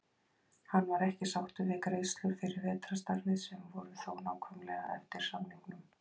Hann var ekki sáttur við greiðslur fyrir vetrarstarfið sem voru þó nákvæmlega eftir samningnum.